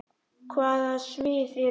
Hvaða svið eru þetta?